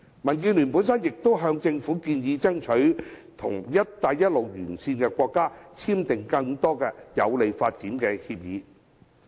民建聯亦曾向政府建議爭取和"一帶一路"沿線國家簽訂更多有利發展的協議。